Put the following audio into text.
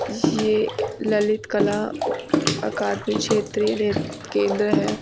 यह ललित कला अकादमी क्षेत्र केंद्र है।